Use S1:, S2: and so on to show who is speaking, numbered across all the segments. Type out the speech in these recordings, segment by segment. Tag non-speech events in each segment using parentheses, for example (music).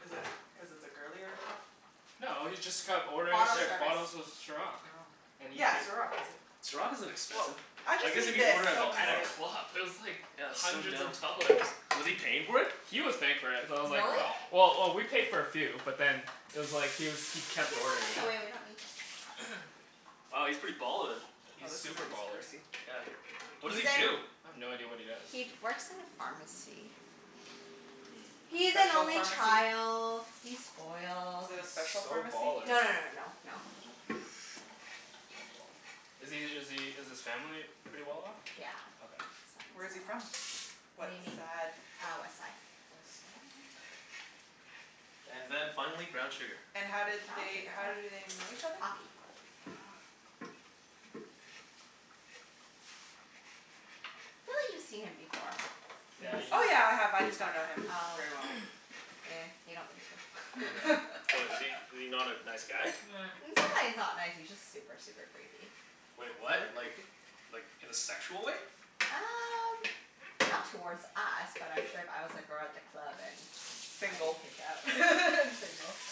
S1: Is it cuz it's a girlier drink?
S2: No, he's just kept ordering
S3: Bottle
S2: C-
S4: Here.
S2: bottles
S3: service.
S2: of Ciroc.
S1: Oh.
S2: And he
S1: Yeah,
S2: pai-
S1: Ciroc, is it
S4: Ciroc isn't
S1: Woah,
S4: expensive.
S1: I
S4: I guess
S1: just
S4: if
S1: need
S4: you
S1: this,
S4: order at a
S2: Oh, at a
S1: honestly.
S4: club.
S2: club, it was like
S4: Yeah, that's so
S2: hundreds
S4: dumb.
S2: of dollars.
S4: Was he paying for it?
S2: He was paying for it, so I was like,
S3: Really?
S4: Oh.
S2: well Well, oh we paid for a few, but then it was like he was, he
S3: You
S2: kept
S3: can put
S2: ordering
S3: this
S2: it.
S3: away. We don't need this pot.
S2: (noise)
S4: Wow, he's pretty ballin'.
S2: He's
S1: Oh, this is
S2: super baller.
S1: (inaudible)
S4: Yeah. What does he
S3: He's in
S4: do?
S2: I have no idea what he does.
S3: He'd works in a pharmacy.
S2: Mm.
S1: A
S3: He's an
S1: special
S3: only
S1: pharmacy?
S3: child. He's spoiled.
S1: Is it a
S2: He's
S1: special
S2: so
S1: pharmacy?
S2: baller.
S3: No no no no no no. No.
S1: (laughs)
S2: Is he is he is his family pretty well off?
S3: Yeah,
S2: Okay.
S3: his
S1: Where is
S3: family's
S1: he
S3: well off.
S1: from? What
S3: Whaddya mean?
S1: sad?
S3: Ah, west side.
S1: West side.
S4: And then finally, brown sugar.
S1: And how did
S3: Brown
S1: they,
S3: sugar?
S1: how do
S3: Oh.
S1: they know each other?
S3: Hockey.
S1: Oh.
S3: I feel like you've seen him before. You
S2: Yeah,
S3: must
S2: you've
S1: Oh, yeah,
S3: have.
S1: I
S2: me-
S1: have. I
S3: Oh
S1: just don't know him
S3: yeah. Oh.
S1: very well.
S2: (noise)
S3: Ehh, you don't need
S2: Yeah.
S3: to.
S1: (laughs)
S4: What, is he,
S3: (laughs)
S4: is he not a nice guy?
S2: Eh.
S3: It's not that he's not nice, he's just super, super creepy.
S4: Wait, what?
S1: Really?
S4: Like
S1: Creepy?
S4: like in a sexual way?
S3: Um not towards us, but I'm sure if I was a girl at the club and I'd be
S1: Single.
S3: creeped out. (laughs) And single. (noise)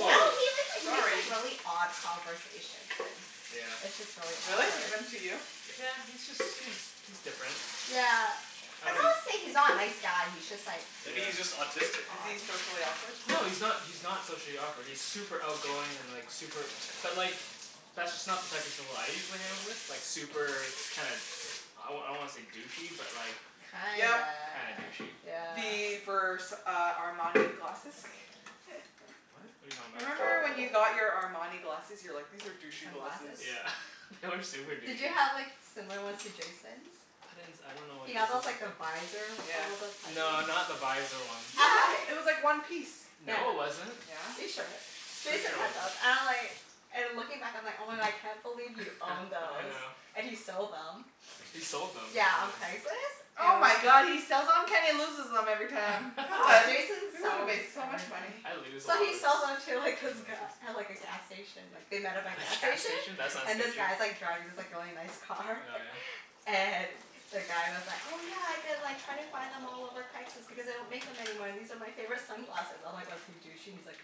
S3: I dunno he make, like makes like
S1: sorry.
S3: really odd conversations and
S2: Yeah.
S3: it's just really
S1: Really?
S3: awkward.
S1: Even to you?
S2: Yeah, he's just, he's he's different.
S3: Yeah.
S2: I
S3: I'm
S2: don't
S3: not
S4: Is he
S3: saying he's not a nice guy, he's just like
S4: Maybe
S2: Yeah.
S4: he's just autistic.
S1: Is he
S3: odd.
S1: socially awkward?
S2: No, he's not, he's not socially awkward. He's super outgoing and like super But like, that's just not the type of people I usually hang out with. Like super kinda, I wa- I don't wanna say douchey, but like
S3: Kinda,
S1: Yep.
S2: Kinda douchey.
S3: yeah.
S1: The Vers- uh Armani glasses?
S2: What? What are you talking
S1: (laughs)
S2: about?
S1: Remember, when you got your Armani glasses? You were like, "These are douchey glasses."
S3: Sunglasses?
S2: Yeah. (laughs) They were super
S3: Did
S2: douchey.
S3: you have like similar ones to Jason's?
S2: I didn't s- I don't know what
S3: He
S2: Jason's
S3: got those
S2: look like.
S3: like the visor
S1: Yeah.
S2: No, not
S3: (inaudible)
S2: the visor ones.
S1: Yeah. It
S3: (laughs)
S1: was like one piece.
S3: Yeah.
S2: No it wasn't.
S3: Are you
S1: Yeah.
S3: sure?
S2: Pretty
S3: Jason
S2: sure it
S3: had those.
S2: wasn't.
S3: And I'm like and looking back I'm like, "Oh my god, I can't believe you
S2: (laughs)
S3: owned
S2: I
S3: those."
S2: know.
S3: And he sold them.
S2: He sold them.
S3: Yeah, on
S2: (inaudible)
S3: Craigslist.
S1: Oh my
S3: And
S1: god, he sells on? Kenny loses them every time.
S2: (laughs)
S3: Ah,
S1: Oh,
S3: Jason
S1: we would have
S3: sells
S1: made so much
S3: everything.
S1: money.
S2: I lose a
S3: So
S2: lot
S3: he
S2: of s-
S3: sells them to like this
S2: sunglasses.
S3: guy at like a gas station like they met
S2: At
S3: at a gas
S2: a gas
S3: station,
S2: station? That's not
S3: and this
S2: sketchy.
S3: guy's like driving this like really nice
S2: Oh
S3: car.
S2: yeah?
S3: (laughs) And the guy was like, "Oh yeah, I've been like trying to find them all over Craigslist because they don't make them anymore and these are my favorite sunglasses." I'm like, "Was he douchey?" He's like,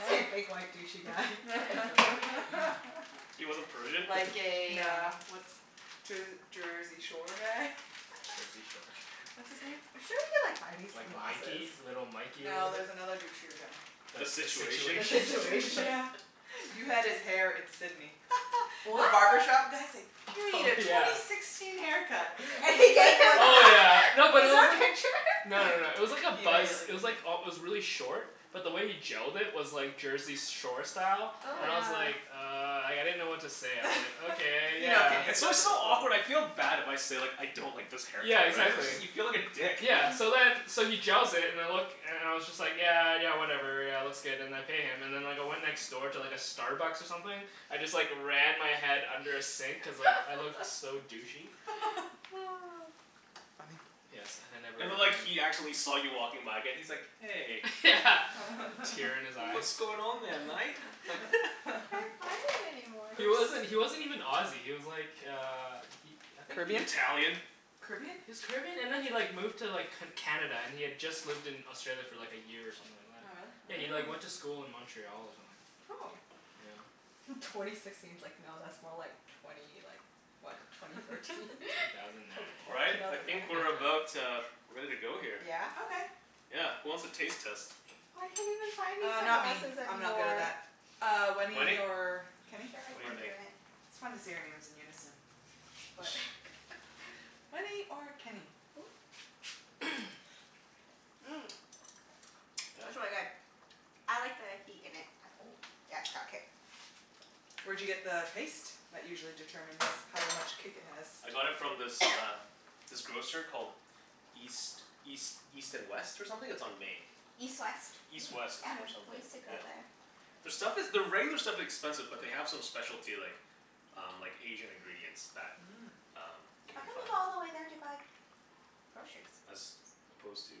S3: "Yep." (laughs) He's like a big white douchey guy. (laughs)
S2: (laughs)
S4: He
S1: (laughs)
S4: wasn't
S2: (noise)
S4: Persian?
S1: Like a uh
S3: No.
S1: what's Jer- Jersey Shore guy?
S2: Jersey Shore.
S1: (laughs) What's his name?
S3: I'm sure we could like find these
S2: Like
S3: sunglasses.
S2: Mikey. Little Mikey, or
S1: No,
S2: whatever?
S1: there's another douchier guy.
S2: The
S4: The
S2: the
S4: Situation?
S3: The
S1: The
S2: Situation?
S1: Situation,
S3: Situation?
S1: yeah.
S3: (laughs)
S1: You
S2: (laughs)
S1: had his hair in Sidney. (laughs) The
S3: What?
S1: barbershop guy's like, "You need
S2: Oh
S1: a twenty
S2: yeah.
S1: sixteen haircut."
S3: And
S1: And
S3: he
S1: he
S3: gave
S1: went
S3: him
S1: like
S2: Oh
S1: this.
S2: yeah.
S3: that? (laughs)
S2: No, but it
S3: Is there a
S2: wasn't
S3: picture?
S2: No no no, it was like a
S1: (laughs) He
S2: buzz,
S1: immediately
S2: it was like
S1: (inaudible)
S2: al- it was really short. But the way he gelled it was like Jersey s- Shore style.
S3: Oh
S2: And
S3: my
S2: I
S1: Yeah.
S2: was
S3: god.
S2: like "Uh," like, I didn't know what to say, I was like,
S1: (laughs)
S2: "Okay,
S1: You know
S2: yeah."
S1: Kenny. He
S4: It's
S1: goes
S4: always
S1: with
S4: so
S1: the flow.
S4: awkward. I feel bad if I say like "I don't like this haircut,"
S2: Yeah,
S4: right?
S2: exactly.
S4: You feel like a dick.
S2: Yeah. So
S1: (noise)
S2: then, so he gels it and it look and and I was just like "Yeah, yeah whatever, yeah it looks good." And I pay him. And then like I went next door to like a Starbucks or something. I just like ran my head under a sink cuz like I looked
S3: (laughs)
S2: so douchey.
S1: (laughs)
S3: (noise)
S1: Funny.
S2: Yes, and I never
S4: And then like
S2: returned.
S4: he actually saw you walking by again. He's like, "Hey."
S2: Yeah, a tear in his
S1: (laughs)
S2: eye.
S4: "What's going on there, mate?" (laughs)
S3: Can't find
S1: (laughs)
S3: it anymore.
S2: He wasn't, he wasn't even Aussie, he was like uh he, I think he
S1: Caribbean?
S4: Italian?
S1: Caribbean?
S2: He was Caribbean and then he like moved to like C- Canada, and he had just lived in Australia for like a year or something like that.
S1: Oh,
S2: Yeah,
S1: really?
S2: he
S1: Oh.
S2: like went
S3: Mm.
S2: to school in Montreal or something.
S3: Oh.
S2: Yeah.
S3: Twenty sixteen's like no, that's more like twenty like what?
S2: Yeah.
S3: Twenty thirteen?
S1: (laughs)
S3: (laughs)
S2: Two thousand nine.
S3: Twenty,
S4: All right.
S3: two
S4: I
S3: thousand nine?
S4: think we're
S2: (laughs)
S4: about uh ready to go here.
S3: Yeah?
S1: Okay.
S4: Yeah. Who wants a taste test?
S3: I can't even find these
S1: Uh, not me.
S3: sunglasses
S1: I'm not good at
S3: anymore.
S1: that. Uh, Wenny
S4: Wenny?
S1: or Kenny?
S3: Sure, I
S2: Go
S4: What do
S2: for
S4: you
S3: can
S2: it.
S3: do
S4: think?
S3: it.
S1: It's fun to say our names in unison.
S3: What? (laughs)
S2: (noise)
S1: Wenny or Kenny?
S3: Ooh.
S2: (noise)
S3: Mmm, (noise) that's really
S4: Yeah?
S3: good. I like the heat in it and ooh, yeah, it's got kick.
S1: Where'd you get the paste? That usually determines how much kick it has.
S4: I got it from this uh
S3: (noise)
S4: this grocer called East East East and West, or something? It's on Main.
S3: East West.
S4: East
S2: Hmm.
S4: West,
S1: Oh
S3: Yeah.
S4: or
S1: yeah?
S3: We
S4: something,
S3: used to go
S4: yeah.
S3: there.
S4: Their stuff is, their regular stuff expensive but they have some specialty like um like Asian ingredients that
S1: Mm.
S4: um you
S3: How
S4: can
S3: come
S4: find.
S3: you go all the way there to buy groceries?
S4: As opposed to?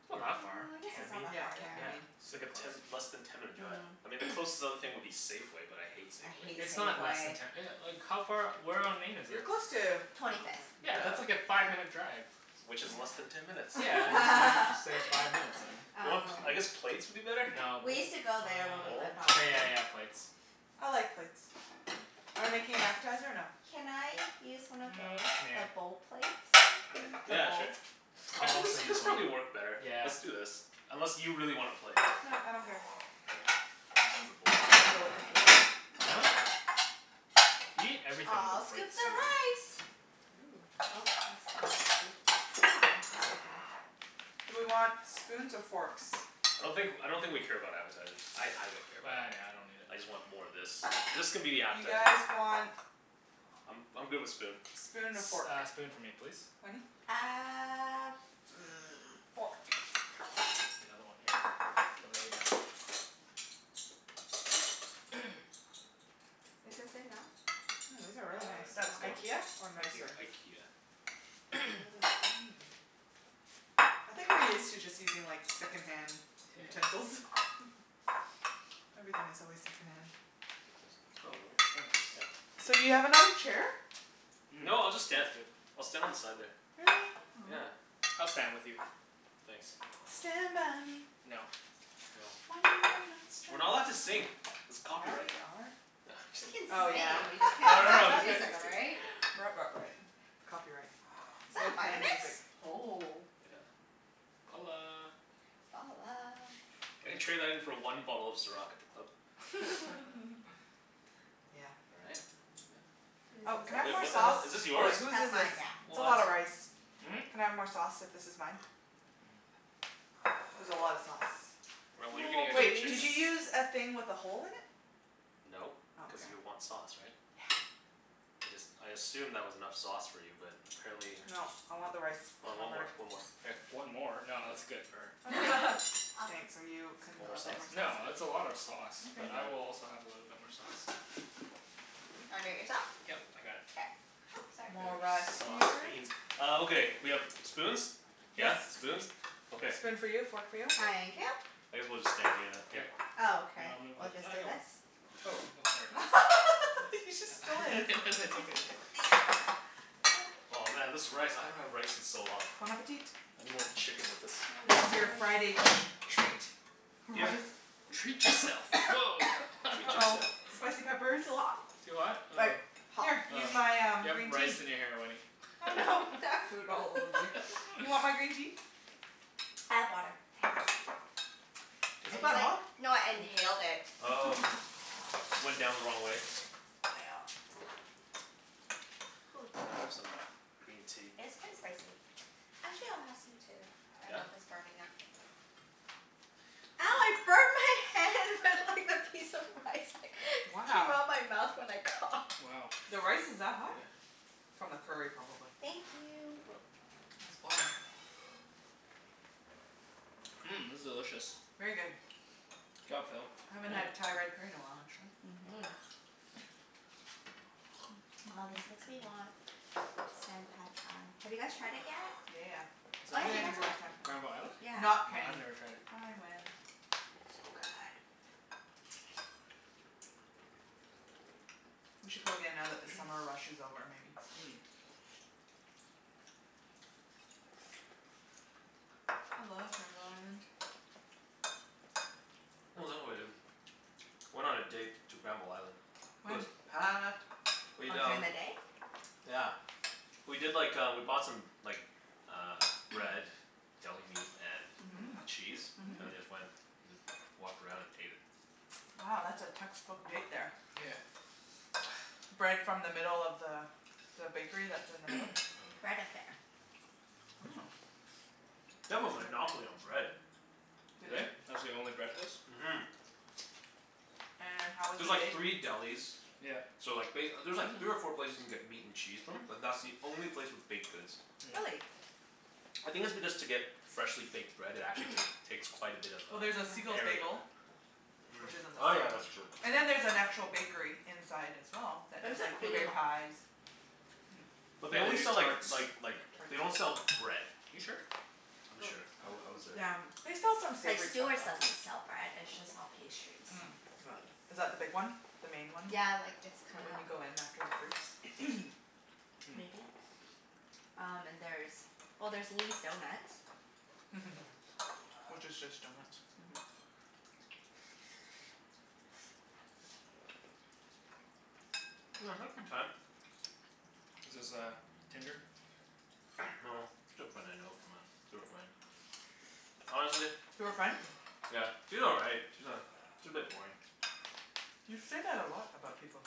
S2: It's not
S4: Where?
S3: Well,
S2: that far.
S3: I guess it's not
S2: Cambie.
S3: that
S1: Yeah.
S3: far,
S1: Cambie,
S3: yeah.
S2: Yeah,
S1: Main.
S4: It's like
S2: super
S4: a
S2: close.
S4: ten, less than ten minute drive.
S3: Mm.
S4: I mean the
S2: (noise)
S4: closest other thing would be Safeway, but I hate
S3: I
S4: Safeway.
S3: hate
S2: It's not less than
S3: Safeway.
S2: ten e- like how far, where on Main is
S1: You're
S2: it?
S1: close to, oh no,
S3: Twenty fifth.
S2: Yeah, that's like
S1: wait. (noise)
S4: Yeah.
S2: a five minute drive.
S4: Which is less than
S3: Yeah.
S4: ten minutes.
S2: Yeah, just why
S1: (laughs)
S2: didn't you say
S3: (laughs)
S2: five minutes then?
S4: Do you want,
S3: Um
S4: I guess plates would be better?
S2: No,
S3: We
S2: bowl
S3: used to go there when we
S4: Bowl?
S3: lived
S2: uh,
S3: on
S2: okay yeah
S3: Main.
S2: yeah yeah plates.
S1: I like plates.
S2: (noise)
S1: Are we making an appetizer or no?
S3: Can I use one of
S2: Mm,
S3: those?
S2: nah.
S3: The bowl plates?
S1: (noise)
S3: The
S4: Yeah,
S3: bowls?
S4: sure. I
S2: I'll
S4: think this
S2: also use
S4: this
S2: one.
S4: probably work better.
S2: Yeah.
S4: Let's do this. Unless you really want a plate?
S1: No, I don't care.
S4: Okay, we'll just use the bowls
S1: I go with
S4: then.
S1: the flow.
S2: Huh? You eat everything with
S3: I'll
S2: a plate,
S3: scoop the
S2: Susan.
S3: rice.
S1: Ooh.
S3: Oh, that's not a scoop. This'll do.
S1: That's okay. It's
S3: It's thick
S1: sticky enough.
S3: enough.
S1: Do we want spoons or forks?
S4: I don't think, I don't think we care about appetizers. I I don't care about
S2: Bah,
S4: them.
S2: nah, I don't need it.
S4: I just want more of this. This can be the
S1: You
S4: appetizer.
S1: guys want
S4: I'm I'm good with spoon.
S1: spoon and a fork.
S2: S- uh spoon for me, please.
S1: Wenny?
S3: Uh, hmm, fork.
S2: Another one here for later. (noise)
S3: Is this enough?
S1: Mm, these are really
S2: Uh
S1: nice.
S3: You
S2: that's
S3: want
S2: good.
S3: more?
S1: IKEA, or
S2: Thank you.
S1: nicer?
S4: IKEA.
S1: They're
S2: (noise)
S1: really thin. I think we're used to just using like second-hand
S2: (laughs)
S1: utensils. (laughs) Everything is always second-hand.
S4: Take this. Oh
S2: Oh,
S4: really?
S2: thanks.
S1: So, do you have
S4: Yeah. (inaudible)
S1: another chair?
S2: Mmm,
S4: No, I'll just stand.
S2: that's good.
S4: I'll stand on the side there.
S1: Really?
S4: Yeah.
S1: Oh.
S2: I'll stand with you.
S4: Thanks.
S3: (inaudible)
S1: Stand by me.
S2: No.
S4: No.
S1: When you're not
S4: We're not allowed to
S1: strong.
S4: sing. It's
S1: Yeah,
S4: copyright.
S1: we are.
S4: (laughs)
S3: We
S4: Just,
S3: can
S1: Oh,
S2: (noise)
S1: yeah.
S3: sing, we just can't
S4: no no
S1: (laughs)
S3: listen
S4: no
S3: to
S4: just kidding.
S1: There's
S3: music,
S4: Just
S1: copy.
S4: kidding.
S3: right?
S2: (noise)
S1: Right, right, right. Copyright.
S3: Is that
S1: No
S3: a
S1: playing
S3: Vitamix?
S1: music.
S3: Oh.
S4: Yeah.
S2: Balla.
S3: Ballah.
S4: I could trade that in for one bottle of Ciroc at the club.
S1: (laughs)
S2: (laughs)
S1: Yeah.
S4: All right. And that.
S3: Whose
S1: Oh, can I
S3: is
S1: have
S4: Wait,
S1: more
S4: what
S3: this?
S4: the
S1: sauce?
S4: hell? Is this
S1: Oh, wait.
S4: yours?
S1: Whose
S3: That's
S1: is this?
S3: mine, yeah.
S1: It's a lot
S4: What?
S1: of rice.
S2: Hmm?
S1: Can I have more sauce, if this is mine?
S2: Mm.
S1: There's a lot of sauce.
S4: Well, what are you gonna
S2: More,
S4: get for
S1: Wait. Did
S2: please.
S4: chicken?
S1: you use a thing with a hole in it?
S4: No,
S1: Oh,
S4: cuz
S1: okay.
S4: you want sauce, right?
S1: Yeah.
S4: I just, I assumed that was enough sauce for you, but apparently
S1: Nope. I want the rice
S4: Oh, one more,
S1: covered.
S4: one more. Here.
S2: One more? No,
S4: Yeah.
S2: that's good for her.
S1: That's good.
S3: (laughs) I'll scoop
S1: Thanks. Are you con-
S3: a
S4: Want more
S3: little bit more
S4: sauce?
S3: sauce
S2: No,
S3: in
S4: Yeah.
S2: that's a lot of
S3: it.
S2: sauce, but
S4: Where's
S1: Okay.
S2: I
S4: mine?
S2: will also have a little bit more sauce.
S3: Do you wanna do it yourself?
S2: Yep, I got it.
S3: K. Oops,
S4: You guys
S1: More
S3: sorry.
S1: rice
S4: are sauce
S1: here.
S4: fiends. Oh, okay. We have spoons?
S1: Yes.
S4: Yeah, spoons? Okay.
S1: Spoon for you, fork for you.
S4: Good.
S3: Thank you.
S4: I guess we'll just stand here then. Yeah.
S2: Yep.
S3: Oh,
S2: Here,
S3: okay.
S2: I'll move
S3: We'll
S2: with,
S3: just
S2: I
S3: do
S2: got one.
S3: this.
S2: Oh, oh sorry.
S1: (laughs)
S4: Thanks.
S1: He just stole
S2: (laughs) I
S1: his.
S2: guess I took it.
S1: (laughs)
S3: There.
S4: Oh man, this rice. I haven't had rice in so long.
S1: Bon appetit.
S4: I need more chicken with
S3: I
S4: this.
S1: This
S3: love
S1: is your
S3: rice.
S1: Friday treat.
S4: Yeah.
S1: Rice.
S2: Treat yourself. Woah. (laughs)
S4: Treat
S1: uh-oh.
S4: yourself.
S1: Spicy peppers?
S3: (noise) Too hot.
S2: Too hot? Oh.
S3: Like hot.
S1: Here,
S3: (noise) I
S2: Oh.
S1: use my um
S2: You have
S1: green
S2: rice
S1: tea.
S2: in your hair, Wenny.
S1: Oh
S2: (laughs)
S1: no.
S3: have food all over me.
S1: (laughs) You want my green tea?
S3: I have water,
S1: Okay.
S3: thanks.
S4: Is
S3: I
S4: it
S3: just
S4: that
S3: like,
S4: hot?
S3: no I
S4: Huh.
S3: inhaled it.
S4: Oh.
S1: (laughs)
S4: Went down the wrong way?
S3: Nyeah. (noise) Hoo.
S4: Better have some green tea.
S3: It is quite spicy. Actually, I'll have some
S2: (noise)
S3: too. My
S4: Yeah?
S3: mouth is burning up. Ow, I
S4: Hmm.
S3: burned my hand with like the piece of rice that came
S1: Wow.
S3: out of my mouth when I
S2: (noise)
S3: coughed.
S2: Wow.
S1: The
S2: Yeah.
S1: rice is that hot?
S4: Yeah.
S1: From the curry, probably.
S3: Thank
S4: No
S3: you.
S4: problem.
S1: It's boiling.
S2: (noise) Mmm, this is delicious.
S1: Very good.
S2: Good job, Phil.
S1: Haven't had
S4: Yeah.
S1: Thai red curry
S4: (noise)
S1: in a while, actually.
S3: Mhm.
S4: Yeah.
S3: Aw, this makes me
S1: (noise)
S3: want Sen Pad Thai. Have you guys tried it yet?
S1: Yeah, yeah,
S2: (noise) Is
S3: Oh
S2: that the
S3: yeah, you
S2: one,
S3: guys
S1: yeah. (inaudible)
S3: went
S1: last time.
S2: Granville Island?
S3: Yeah.
S2: No,
S1: Not Kenny.
S2: I've never tried it.
S1: I went.
S3: So good.
S1: We should go again now that the summer rush is over, maybe?
S2: (noise) Mm.
S3: (noise)
S1: I love Granville Island.
S4: (noise) Oh, is that what I did? (noise) Went on a date to Granville Island. It was
S1: When?
S4: packed.
S3: (noise) Oh,
S4: We'd
S3: during
S4: um
S3: the day?
S4: (noise) Yeah. We did like uh, we bought some like uh bread.
S3: (noise)
S4: Deli
S2: (noise)
S4: meat
S3: Mhm.
S4: and
S1: Mmm.
S4: cheese. And then
S3: Mhm.
S1: Mmm.
S4: just went, just walked around and ate it.
S1: Oh, that's a textbook date, there.
S2: (noise) Yeah.
S3: (noise)
S1: Bread from the middle of the the bakery that's in the middle?
S3: Bread Affair.
S1: Oh.
S4: (noise) They have a monopoly on
S1: (inaudible)
S4: bread. (noise)
S2: (noise)
S1: They
S2: Do
S1: do?
S2: they? That's the only bread place?
S4: Mhm.
S1: And how
S4: (noise)
S1: was the
S4: There's like
S1: bake?
S4: three delis
S2: (noise) Yep.
S4: (noise) so like ba-
S3: (noise)
S4: there's three or
S3: Mhm.
S4: four places you can get meat and cheese from, but that's the only
S3: (noise)
S4: place with baked goods.
S2: (noise) Mm.
S3: Really?
S4: (noise) I think it's because to get freshly baked bread it actually take takes quite a bit of
S1: Well, there's a
S4: uh
S1: Siegel's
S3: Yeah.
S4: area.
S1: Bagel.
S4: Mm,
S1: Which isn't the
S4: oh yeah,
S1: same.
S4: that's true.
S1: And then there's an actual bakery inside, as well, that
S3: There's
S1: does
S3: a
S1: like blueberry
S3: few.
S1: pies. Mmm.
S2: (noise)
S4: (noise) But they
S2: Yeah, we
S4: only
S2: do
S4: sell like
S2: tarts.
S4: like like, they
S1: Tarts.
S4: don't sell bread.
S2: You sure?
S4: I'm
S2: No,
S4: sure. I
S2: oh.
S4: w- I was there.
S3: (noise) Yeah.
S1: They sell some
S3: Like
S1: savory stuff,
S3: Stewart's
S1: though.
S3: doesn't sell bread. It's
S2: (noise)
S3: just all pastries.
S2: Mm.
S1: Mm
S2: (noise)
S1: (noise) is that the big one? The main one?
S3: Yeah, like it's
S1: Right
S3: kinda
S1: when you go in, after the fruits?
S3: (noise)
S2: Mm.
S3: Maybe. Um and there's, well there's Lee's Donuts. (noise)
S1: (laughs) Which is just
S4: (noise)
S1: donuts.
S3: Mhm.
S2: (noise) (noise)
S4: (noise) I had a good time. (noise) No,
S2: Is this
S4: just a
S2: uh Tinder?
S4: girl I know from uh, through a friend. (noise) Honestly
S1: Through a friend?
S2: (noise)
S4: (noise) Yeah, she's all right. She's a she's a bit boring.
S1: You say that a lot about people.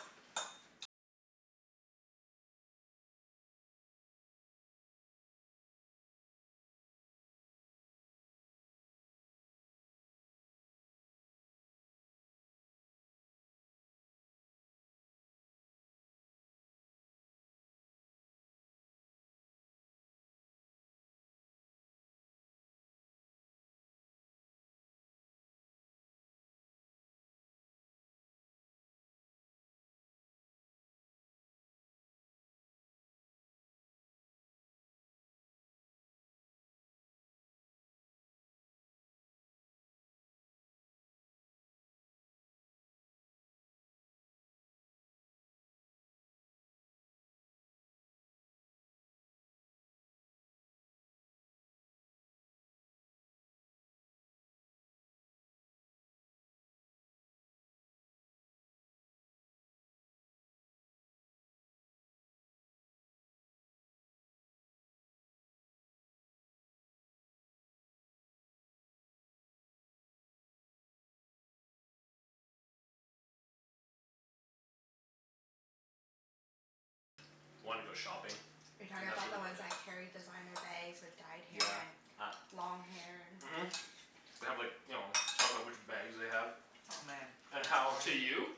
S3: (noise) Are you talking about the ones that carry designer bags with dyed hair
S4: Yeah,
S3: and
S4: ah.
S3: long hair and
S4: Mhm. (noise) They have like, you know, talk about which bags they have.
S1: Oh man
S4: (noise) And
S1: (inaudible)
S4: how
S2: To you? (noise)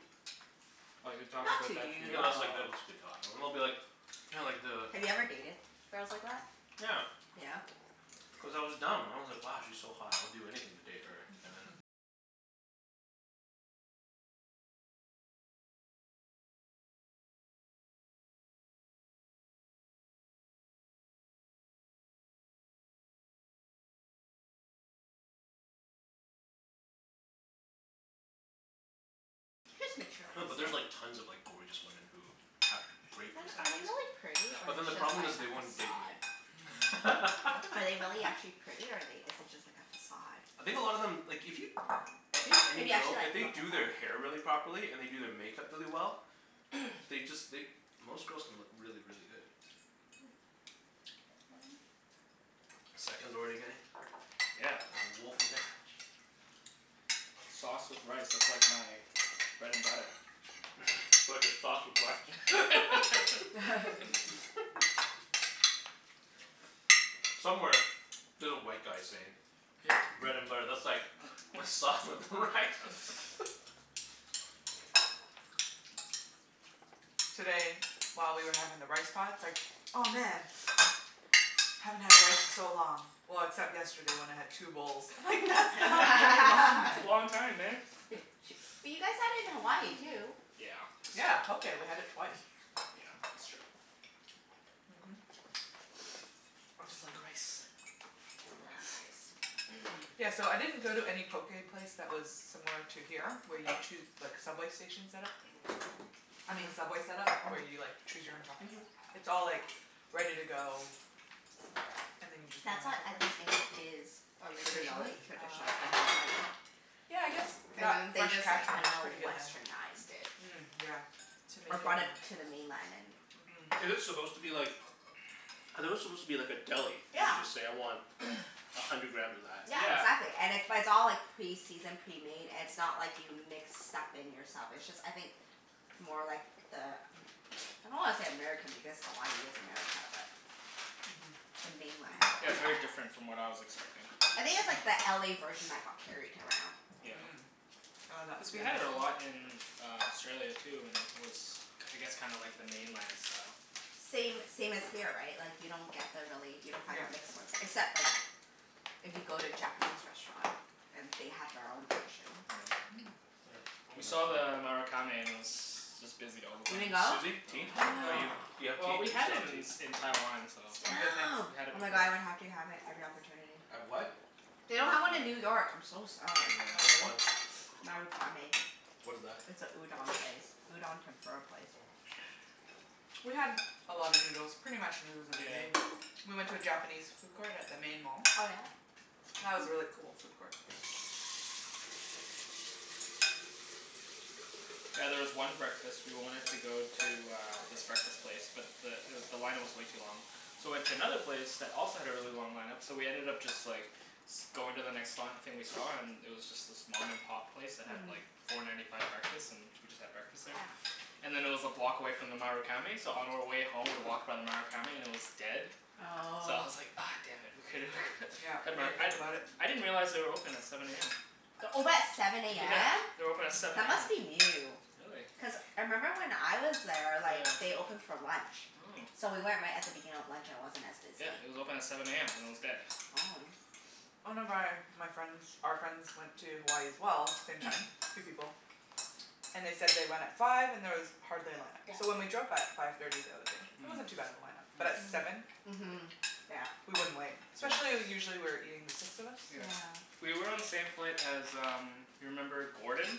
S2: Like, they're talking
S3: Not
S2: about
S3: to
S2: that to
S4: (noise)
S3: you,
S4: No,
S2: you?
S4: that's like,
S3: though.
S4: they'll just be talking. And they'll be like (noise) you know like the
S3: Have you ever dated girls like that?
S4: (noise) Yeah.
S3: Yeah?
S4: Cuz I was dumb. I was like, "Wow, she's so hot. I would do anything to date
S1: (noise)
S4: her." And then
S3: Just
S4: No, but there's like
S3: materialistic.
S4: tons of like gorgeous women who have great
S3: Then are they
S4: personalities.
S3: really pretty,
S4: (noise)
S3: or
S4: But
S3: is
S4: then the
S3: it just
S4: problem
S3: like
S4: is
S3: a
S4: they won't date me.
S3: facade?
S1: Hmm? What?
S3: Are they really actually
S4: (laughs)
S3: pretty or are they, is it just like a facade?
S4: (noise)
S2: (noise)
S4: I think a lot of them, like if you I think
S3: If
S4: any
S3: you actually
S4: girl, if
S3: like look
S4: they
S3: at
S4: do
S3: them?
S4: their hair really properly, and they do their makeup really well they just, they, most girls can look really, really good. (noise) Seconds already getting?
S2: (noise) Yeah.
S4: There's a wolf in there?
S2: Sauce with rice. That's like my bread and butter.
S1: (noise)
S4: (noise) Sauce with rice. (laughs)
S3: (noise) (laughs)
S2: (laughs)
S4: (noise) Somewhere there's a white guy saying (noise) bread and butter, that's like my sauce with rice.
S2: (laughs)
S4: (laughs)
S1: Today, while we were having the rice pot, it's like, "Oh, man!"
S2: (noise)
S1: "Haven't had rice in so long. Well, except yesterday when I had two bowls."
S3: (noise)
S1: I'm like, "That's
S2: (laughs)
S1: not very long,
S2: That's a
S1: then."
S3: (laughs)
S2: long time, man.
S3: Bu-
S2: (laughs)
S3: ch- but you guys had it in Hawaii too.
S2: (noise) Yeah, that's
S1: Yeah,
S2: true.
S1: poké. We had it twice.
S2: Yeah, that's true. (noise) I
S4: (noise)
S1: (noise) Mhm. (noise)
S2: just like rice.
S3: (noise) Love rice.
S2: (noise)
S1: Yeah, so I didn't go to any poké place that was similar to here where you choo- like, subway station set-up.
S3: (noise)
S1: I
S3: uh-huh.
S1: mean Subway set-up, where you like
S3: Mhm.
S1: choose your own toppings.
S3: Mhm.
S1: It's all like ready to go
S2: (noise)
S1: and then you just get
S3: That's
S1: on the
S3: what I think
S1: subway.
S3: is
S4: (noise)
S3: is
S1: Traditionally?
S3: originally
S2: (noise)
S1: Ah,
S3: traditionally
S1: okay.
S3: in Hawaii.
S4: (noise)
S1: Yeah, I guess
S3: And
S1: that
S3: then they
S1: Fresh
S3: just like
S1: Catch one is
S3: kinda
S1: pretty good then.
S3: Westernized it.
S1: Mm, yeah. To make
S3: Or
S1: it more
S3: brought it to the mainland and
S4: (noise)
S1: Mhm.
S4: Is it supposed to be like I thought it was supposed to be like a deli, and
S3: Yeah.
S4: you just say, "I want a hundred
S2: (noise)
S4: grams of that."
S3: Yeah,
S2: Yeah.
S3: exactly. And it it's all like pre-seasoned, pre-made. It's not like you mix stuff in yourself. It's just I think more like the Am-
S1: (noise)
S3: I don't wanna say American, because Hawaii is America, but
S1: Mhm.
S3: the mainland.
S2: Yeah, it's very different from what I was expecting.
S3: I think it's
S1: (noise)
S3: like the LA
S2: (noise)
S3: version that got carried around.
S2: Yeah.
S1: Mm.
S4: (noise)
S1: Oh, that?
S2: Cuz we had it a
S1: (inaudible)
S2: lot in uh Australia, too, and it was k- I guess kinda like the mainland style.
S3: (noise) Same same as here, right? Like you don't get the really, you don't find
S1: Yep.
S3: the mixed ones. Except like if you go to a Japanese restaurant. And they have their own version.
S1: Mm.
S4: (noise)
S2: We saw the Marukame and it was just busy all the
S3: You didn't
S2: time.
S3: go?
S4: Susie, tea?
S2: No.
S4: Are
S1: No.
S4: you,
S3: (noise)
S4: do you have
S2: Well,
S4: tea? Do
S2: we
S4: you
S2: had
S4: still
S2: it
S4: want
S2: in
S4: tea?
S2: in Taiwan, so
S1: I'm good, thanks.
S3: Damn.
S2: we
S3: Oh
S2: had it
S3: my god,
S2: before.
S3: I would have to have it every opportunity.
S4: Have what?
S2: Mhm.
S3: They don't have one in New
S2: Marukame.
S3: York. I'm so sad.
S1: Oh,
S4: Which
S2: Yeah.
S1: really?
S4: one?
S3: Marukame.
S4: What is that?
S3: It's a udon place.
S2: (noise)
S3: Udon tempura place.
S4: (noise)
S1: We had a lot of
S2: (noise)
S1: noodles. Pretty much noodles every
S2: Yeah.
S1: day. We went to a Japanese food court at the main mall.
S3: Oh yeah?
S1: That was a really
S3: Oh.
S1: cool food court.
S2: Yeah, there was one breakfast, we wanted to go to uh this breakfast place but the it w- the line up was way too long. So we went to another place that also had a really long line up. So we ended up just like going to the next li- thing we saw
S3: (noise)
S2: and it was just this mom and pop place that had like
S3: Hmm.
S2: four ninety five breakfast. And we just had breakfast there.
S3: Yeah.
S2: And then it was a block away from the Marukame so on our way home we walked by the Marukame and it was dead. So I
S3: Oh.
S2: was like, ah damn it. We
S1: (noise)
S2: coulda we
S1: Yep.
S2: could (laughs)
S1: We
S2: had more,
S1: didn't
S2: I
S1: think about it.
S2: I didn't realize they were open at
S3: (noise)
S2: seven a m.
S3: They're open at seven a
S2: Yeah.
S3: m?
S2: They're open at
S1: Mhm.
S2: seven
S3: That
S2: a m.
S3: must be new.
S2: Really?
S3: Cuz I member when I was there, like
S2: Yeah.
S3: they opened for lunch.
S2: Mm.
S3: So we went right at the beginning of lunch and it wasn't as
S2: Yeah,
S3: busy.
S2: it was open at seven a m and it was dead.
S3: Oh.
S1: (noise) One of
S4: (noise)
S1: my my friends, our friends went to Hawaii as well. Same time. Three people. And they said they went at five and there was hardly a line
S3: (noise)
S1: up. So when
S3: Yeah.
S1: we drove by at five thirty the other day,
S3: (noise)
S2: (noise) Hmm.
S1: it
S2: Mm.
S1: wasn't too bad of a line up. But at seven?
S3: Mm.
S1: Li-
S3: Mhm. Yeah.
S1: we wouldn't wait.
S2: Yeah.
S1: Especially usually we were eating, the six of us.
S2: Yeah.
S3: Yeah.
S2: We were on the same flight as um you remember Gordon?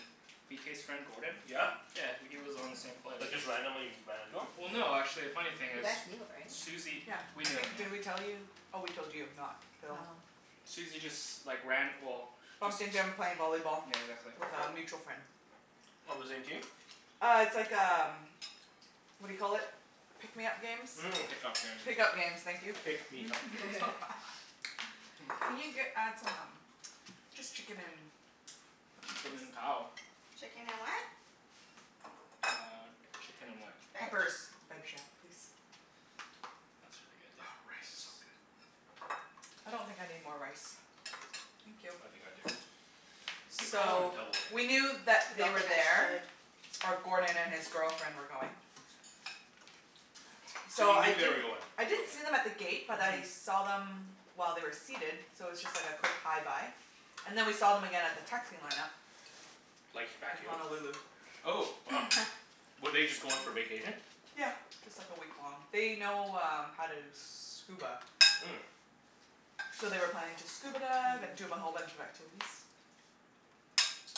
S2: B k's friend, Gordon?
S4: Yeah?
S2: Yeah. W- he was on the same
S4: (noise)
S2: flight as
S4: But
S2: us.
S4: just randomly ran into him?
S2: Well no, actually, a funny thing
S3: You
S2: is
S3: guys knew, right?
S2: Susie,
S1: Yeah.
S2: we
S1: I
S2: knew him,
S1: think,
S2: yeah.
S1: did we tell you? Oh, we told you, not Phil.
S3: Oh.
S2: Susie just like ran, well
S4: (noise)
S2: just
S1: Bumped into him
S4: (noise)
S1: playing volleyball
S2: Yeah, exactly.
S1: with a mutual friend.
S4: On the same team?
S1: Uh, it's like um what do you call it? Pick me up games?
S2: (noise)
S4: (noise) Mm.
S2: Pick up games.
S1: Pick up games. Thank you.
S4: Pick me up games.
S2: (laughs)
S3: (laughs)
S1: (laughs)
S2: (laughs)
S1: Can you get add some um Just chicken and
S2: (noise)
S1: peppers, please?
S2: Chicken and cow. (noise)
S3: Chicken and what?
S2: Uh, chicken and what?
S3: Veg?
S1: Peppers. (inaudible) please?
S2: That should be good,
S4: Oh,
S2: yeah.
S4: rice is so
S2: Thanks.
S4: good.
S1: I don't think I need more rice. Thank you.
S4: I think I do. Good call on the
S1: So,
S4: double,
S1: we
S4: Kenny.
S1: knew that they
S3: Don't
S1: were
S3: think I
S1: there
S3: should.
S1: or Gordon and his girlfriend were going.
S4: So
S1: So
S4: you
S3: (noise)
S1: I
S3: Okay,
S4: knew
S3: fine.
S4: they were
S1: didn't
S4: going?
S1: I didn't
S4: Okay.
S1: see them at the gate
S2: (noise)
S1: but I
S2: Mhm.
S1: saw them while they were seated so it was just like a quick hi bye. And then we saw them again at the taxi line up.
S4: Like, back
S1: In
S4: here?
S1: Honolulu.
S4: Oh, wow.
S3: (laughs)
S4: Were they just going for vacation?
S1: Yeah, just like a week long. They know um how to scuba.
S4: Mm.
S2: (noise)
S1: So they were planning to
S3: (noise)
S1: scuba dive and do a whole
S3: Mmm.
S1: bunch of activities.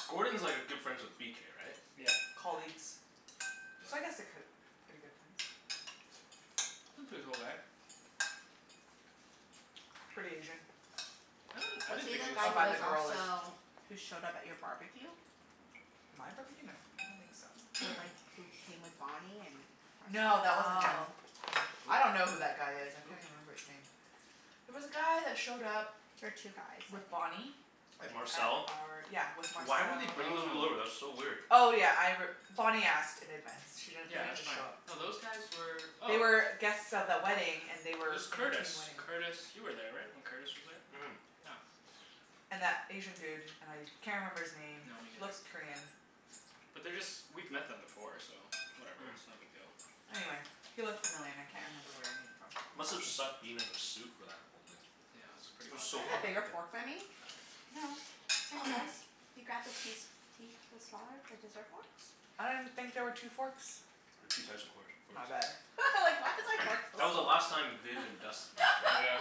S4: Gordon's like a good friends with b k, right?
S2: Yep.
S1: Colleagues. So I
S4: Yeah.
S1: guess they're ki-
S2: (noise)
S1: k- pretty good friends.
S2: He's a pretty cool guy. (noise)
S1: Pretty Asian.
S2: (noise) I
S3: (noise)
S2: don't, I
S3: Was
S2: didn't
S3: he
S2: think
S3: the
S2: he was
S1: I
S3: guy who
S2: super
S1: find the
S3: was
S2: Asian.
S1: girl is.
S3: also, who showed up at your barbecue? (noise)
S1: My barbecue? No, I don't think so.
S3: With like, who came with Bonnie and (inaudible)
S2: (noise)
S1: No, that wasn't him,
S3: Oh.
S1: no. I don't know who that guy is.
S3: (noise)
S1: I
S2: Who?
S3: There
S2: Who?
S1: can't even remember his name. There was a guy that showed up
S3: were two guys, I
S1: with Bonnie
S3: think.
S4: (noise) And
S1: at
S4: Marcel?
S1: our, yeah, with
S2: (noise)
S4: (noise)
S1: Marcel.
S4: Why would they bring those people
S2: Oh. (noise)
S4: over? That's so weird.
S1: Oh, yeah, I r- Bonnie asked in advance. She didn't, they
S2: Yeah,
S1: didn't
S2: that's
S1: just show
S2: fine.
S1: up.
S2: No, those guys were
S1: They
S2: oh
S1: were guests of the wedding, and they
S2: It
S1: were
S2: was
S1: in
S2: Curtis.
S1: between wedding.
S2: Curtis you were there, right? When Curtis was there?
S4: (noise)
S2: Yeah.
S1: And that Asian dude. And I can't remember his name.
S2: No, me
S1: He
S2: neither.
S1: looks Korean.
S2: But they're just, we've met them before, so
S4: (noise)
S2: whatever. It's no big deal.
S4: Mm.
S1: Anyway,
S3: (noise)
S1: he looked familiar and I can't remember where I knew him from.
S4: (noise) Must have sucked being in a suit for that whole thing.
S2: Yeah, it's pretty
S4: It
S3: (noise)
S4: was
S3: Do
S2: hot
S4: so
S3: you have
S2: back
S3: a
S4: hot
S3: bigger
S2: there.
S4: that day.
S3: fork than me?
S1: No, same
S3: Oh.
S1: size.
S3: You grabbed the key s- key the smaller, the dessert forks?
S1: I didn't think there were two forks.
S4: (noise) There's two size of course forks.
S1: My bad.
S3: (laughs) I was like why is my fork so
S4: (noise) That was the
S3: small?
S4: last time Viv and
S2: (noise)
S1: (laughs)
S4: Dustin were
S2: Yeah.
S4: together.